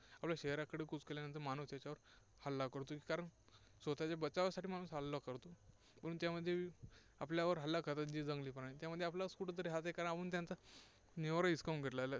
आपल्या शहराकडे कूच केल्यानंतर माणूस त्याच्यावर हल्ला करतो. कारण स्वतःच्या बचावासाठी माणूस त्याच्यावर हल्ला करतो. म्हणून त्यामध्ये आपल्यावर हल्ला करतात जे जंगली प्राणी, त्यामध्ये आपलाच कुठेतरी हात आहे, कारण आपण त्यांचा निवारा हिसकावून घेतलेला आहे.